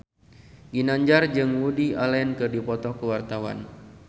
Ginanjar jeung Woody Allen keur dipoto ku wartawan